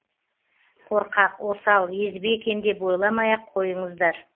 қорқақ осал езбе екен деп ойламай ақ қойыңыздар